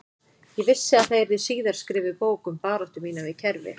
Ég vissi að það yrði síðar skrifuð bók um baráttu mína við kerfið